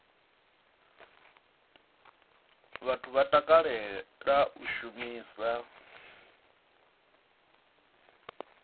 vhathu vha takalela u shumisa